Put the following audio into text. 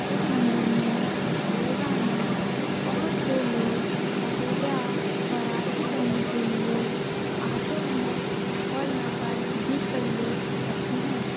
इस मंदिर में रोजाना बहुत से लोग पूजा और आरती करने के लिए आते है और यहाँ पर दीप प्रज्वलित करते है।